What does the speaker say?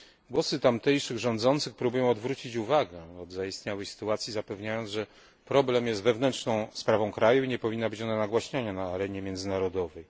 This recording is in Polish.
Głosy tamtejszych rządzących próbują odwrócić uwagę od zaistniałej sytuacji, zapewniając, że problem jest wewnętrzną sprawą kraju i nie powinna być ona nagłaśniana na arenie międzynarodowej.